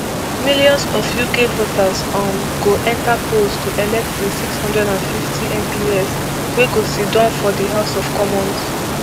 millions of uk voters um go enta polls to elect di six hundred and fifty mps wey go siddon for di house of commons